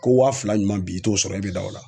Ko wa fila ɲuman bi i t'o sɔrɔ e be da o la?